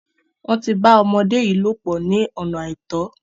Wọ́n ti bá ọmọde yìí lòpò ní ọ̀nà àìtọ́.